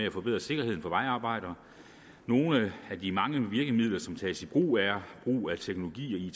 at forbedre sikkerheden for vejarbejdere nogle af de mange virkemidler som tages i brug er brug af teknologi